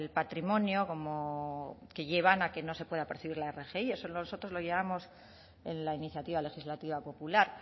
patrimonio como que llevan que no se pueda percibir la rgi eso nosotros lo llevamos en la iniciativa legislativa popular